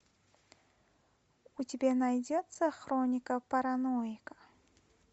у тебя найдется хроника параноика